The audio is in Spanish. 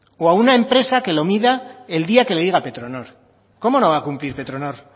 o a una empresa que lo mida el día que le diga petronor cómo no va a cumplir petronor